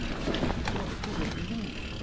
Tinha umas filhas lindas.